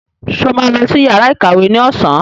Sọ ma lọ sí yàrá ìkàwé ní ọ̀sán?